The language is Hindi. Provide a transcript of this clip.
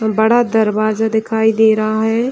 बड़ा दरवाजा दिखाई दे रहा है।